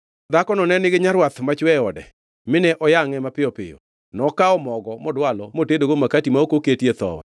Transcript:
Dhakono ne nigi nyarwath machwe e ode, mine oyangʼe mapiyo piyo. Nokawo mogo, modwalo motedogo makati ma ok oketie thowi.